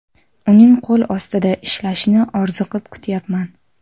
Uning qo‘l ostida ishlashni orziqib kutyapman.